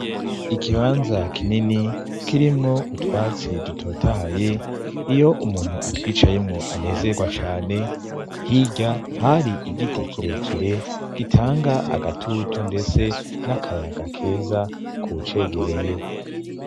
Ikibanza kinini kirimwo utwatsi dutotahaye iyo umuntu atwicayemwo anezerwa cane hirya hari igiti kirekire gitanga agatutu, ndetse n'akayaga keza ku uwucegereye.